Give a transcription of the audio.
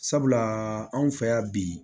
Sabula anw fɛ yan bi